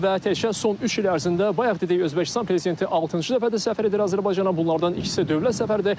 Və təkcə son üç il ərzində bayaq dedik Özbəkistan prezidenti altıncı dəfədir səfər edir Azərbaycana, bunlardan ikisi dövlət səfəridir.